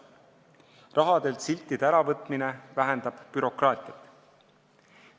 Rahalt siltide äravõtmine vähendab bürokraatiat.